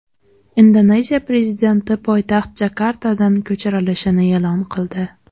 Indoneziya prezidenti poytaxt Jakartadan ko‘chirilishini e’lon qildi.